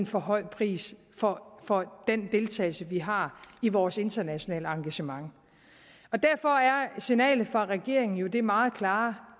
for høj pris for for den deltagelse vi har i vores internationale engagement derfor er signalet fra regeringen jo det meget klare